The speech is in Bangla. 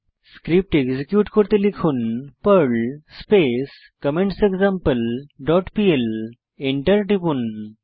স্ক্রিপ্ট এক্সিকিউট করতে লিখুন Perl space comments example dot PL enter টিপুন